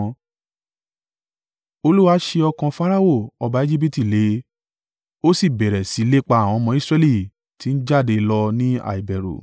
Olúwa sé ọkàn Farao ọba Ejibiti le, ó sì bẹ̀rẹ̀ sí lépa àwọn ọmọ Israẹli ti ń jáde lọ ní àìbẹ̀rù.